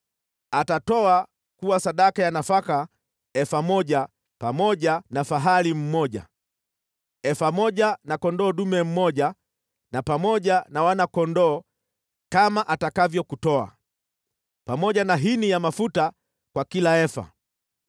Atatoa kuwa sadaka ya nafaka efa moja pamoja na fahali mmoja, efa moja na kondoo dume mmoja na pamoja na wana-kondoo kama atakavyo kutoa, pamoja na hini ya mafuta kwa kila efa.